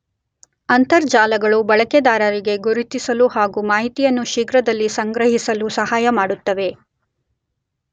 ಅಂತರ್ಜಾಲಗಳು ಬಳಕೆದಾರರಿಗೆ ಗುರುತಿಸಲು ಹಾಗು ಮಾಹಿತಿಯನ್ನು ಶೀಘ್ರದಲ್ಲಿ ಸಂಗ್ರಹಿಸಲು ಸಹಾಯಮಾಡುತ್ತವೆ.